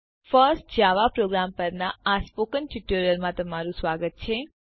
first Java program પરના આ spoken ટ્યુટોરીયલમાં તમારું સ્વાગત છે